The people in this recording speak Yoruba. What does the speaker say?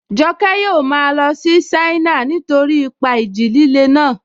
Joke yóò máa lọ sí China nítorí ipa ìjì líle náà